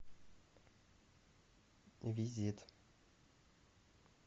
визит